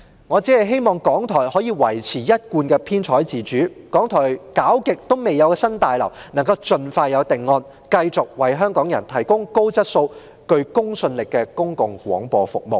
我希望港台可以維持一貫的編採自主，一直未有着落的新大樓可以盡快有定案，好使港台能繼續為香港人提供高質素及具公信力的公共廣播服務。